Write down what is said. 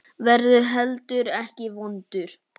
Verður heldur ekki vondur.